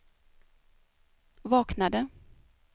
vaknade